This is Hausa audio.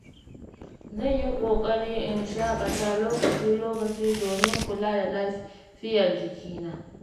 Zan yi ƙoƙari in shaƙata lokaci-lokaci domin kula da lafiyar jikina.